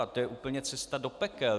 A to je úplně cesta do pekel.